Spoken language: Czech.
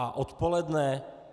A odpoledne?